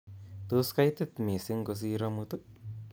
Tos kaitit mising' kosir amut